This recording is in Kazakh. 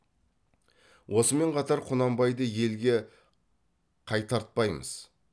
осымен қатар құнанбайды елге қайтартпаймыз